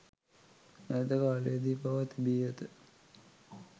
ඈත කාලයේදී පවා තිබී ඇත.